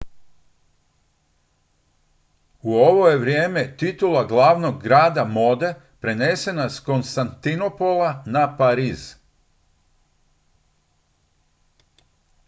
u ovo je vrijeme titula glavnog grada mode prenesena s konstantinopola na pariz